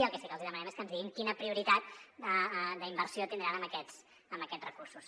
i el que sí que els hi demanem és que ens diguin quina prioritat d’inversió tindran amb aquests recursos